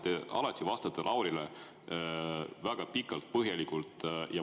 Te alati vastate Laurile väga pikalt ja põhjalikult.